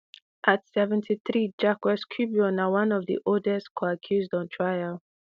at seventy-three na one of di oldest on trial